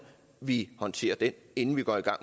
vi håndterer den inden vi går i gang